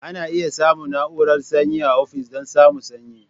Ana iya samun na'urar sanyi a ofis don samun sanyi.